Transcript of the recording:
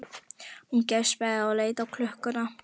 Hún geispaði og leit á klukkuna.